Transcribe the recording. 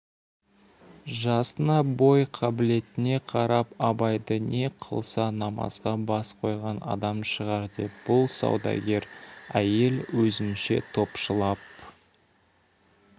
жасына бой қабілетіне қарап абайды не қылса намазға бас қойған адам шығар деп бұл саудагер әйел өзінше топшылап